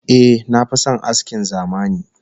Eh, na fi son askin zamani